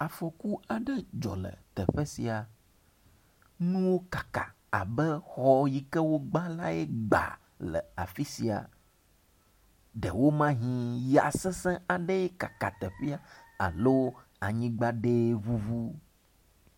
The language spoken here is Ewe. Afɔku aɖe dzɔ le teƒe sia. Nuwo kaka abe xɔ yike wobla lae gba le afi sia. Ɖewomahi ya sesee kaka teƒea alo anyigba lae ŋuŋu.